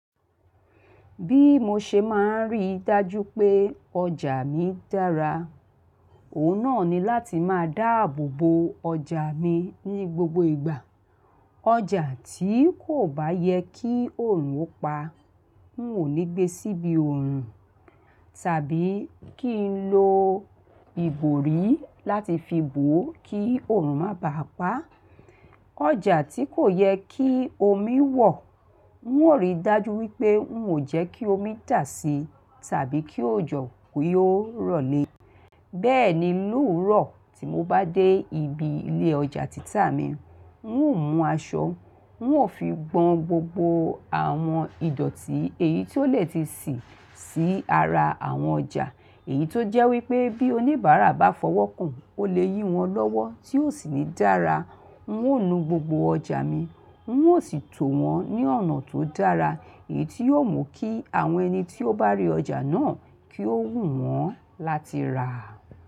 Bí mo ṣe máa ń rí dájú pé ọjà mi dára, òun náà ni láti máa dáàbò bo ọjà mi ní gbogbo ìgbà. Ọjà tí kò bá yẹ kí oòrùn ó pa, n ò ní gbé síbi oòrùn, tàbí kí n lo ìgbòrí láti fi bò ó kí oòrùn má bà á pa. Ọjà tí kò yẹ kí omi wọ̀, n ó ríi dájú wípé n ò jẹ́ kí omi dà si tàbí kí òjò kó yóò rọ̀lé. Bẹ́ẹ̀ ni, lóòrùn tí mo bá dé ibi ilé ọjà títà mi, n ó mú aṣọ, n ó fi gbọn gbogbo àwọn ìdọ̀tí èyí tó lè ti sì sí ara àwọn ọjà. Èyí tó jẹ́ wípé bí oníbàárà bá fọwọ́ kàn ó lè yí wọn lọ́wọ́ tí ó sì ní dára. N ó nu gbogbo ọjà mi, n ó sì tó wọn ní ọ̀nà tó dára èyí tó yóò mú kí àwọn ẹni tí ó bá rí ọjà náà kí ó wù wọ́n láti rà.